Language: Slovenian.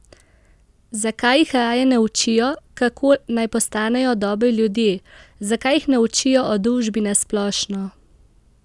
Zakaj jih raje ne učijo, kako naj postanejo dobri ljudje, zakaj jih ne učijo o družbi na splošno?